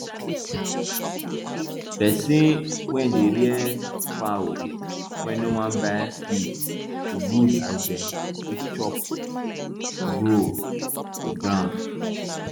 person wey dey rear fowl wey no wan buy feed e good as dem fit chop grow for ground